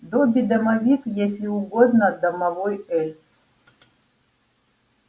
добби-домовик если угодно домовой эльф